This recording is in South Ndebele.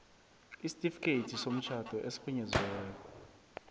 isitifikhethi somtjhado esirhunyeziweko